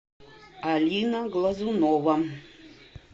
алина глазунова